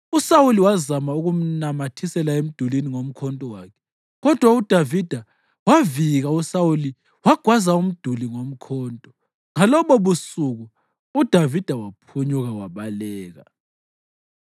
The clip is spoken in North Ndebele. uSawuli wazama ukumnamathisela emdulini ngomkhonto wakhe, kodwa uDavida wavika uSawuli wagwaza umduli ngomkhonto. Ngalobobusuku uDavida waphunyuka wabaleka.